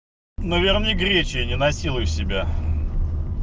наверное гречкой не насилуй себя